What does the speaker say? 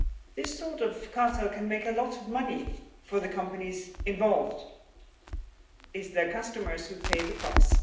This sort of cartel can make a lot of money for the companies involved. It is their customers who pay the price.